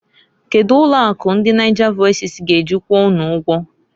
Kedu ụlọ akụ ndi Nigervoices g'eji kwụọ unu ụgwọ?